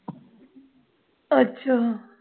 ਅੱਛਾ